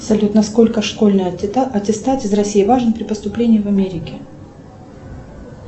салют насколько школьный аттестат из россии важен при поступлении в америке